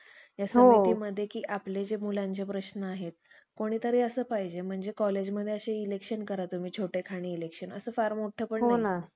दास्तवादांपासून आपल्या, दीन व दुबळ्या आणि गांजलेल्या वा~ गांजलेल्या